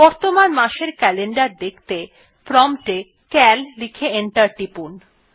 বর্তমান মাস এর ক্যালেন্ডার দেখতে প্রম্পট এ সিএএল লিখে এন্টার টিপুন